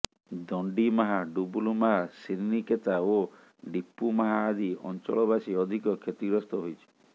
ଦଣ୍ଡିମାହା ଡବୁଲୁମାହା ଶ୍ରାନିକେତା ଓ ଡିପୁମାହା ଆଦି ଅଞ୍ଚଳବାସୀ ଅଧିକ କ୍ଷତିଗ୍ରସ୍ତ ହୋଇଛି